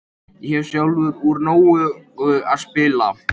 Ég hef sjálfur úr nógu að spila.